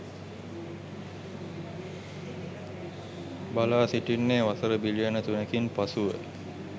බලාසිටින්නේ වසර බිලියන තුනකින් පසුව